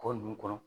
Kɔ ninnu kɔnɔ